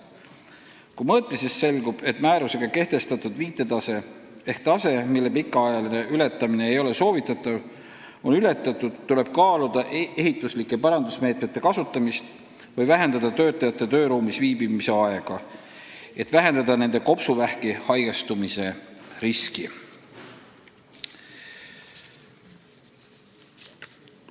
Kui mõõtmisest selgub, et määrusega kehtestatud viitetase ehk tase, mille pikaajaline ületamine ei ole soovitatav, on ületatud, tuleb kaaluda ehituslike parandusmeetmete kasutamist või vähendada töötajate tööruumis viibimise aega, et nende kopsuvähki haigestumise risk ei oleks suur.